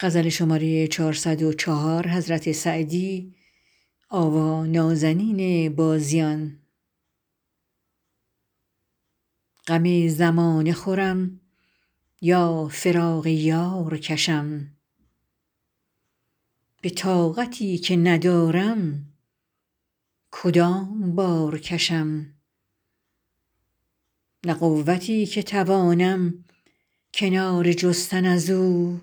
غم زمانه خورم یا فراق یار کشم به طاقتی که ندارم کدام بار کشم نه قوتی که توانم کناره جستن از او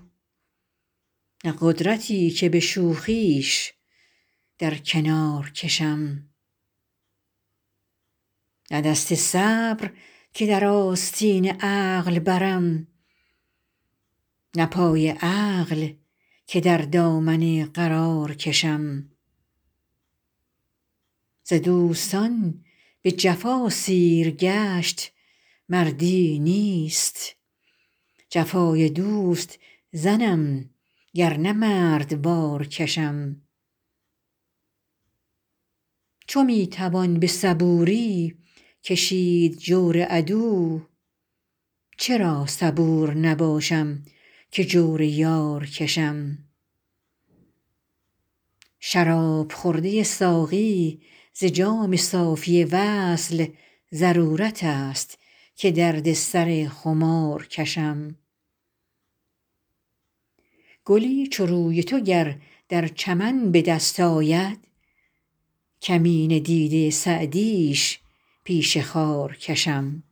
نه قدرتی که به شوخیش در کنار کشم نه دست صبر که در آستین عقل برم نه پای عقل که در دامن قرار کشم ز دوستان به جفا سیرگشت مردی نیست جفای دوست زنم گر نه مردوار کشم چو می توان به صبوری کشید جور عدو چرا صبور نباشم که جور یار کشم شراب خورده ساقی ز جام صافی وصل ضرورت است که درد سر خمار کشم گلی چو روی تو گر در چمن به دست آید کمینه دیده سعدیش پیش خار کشم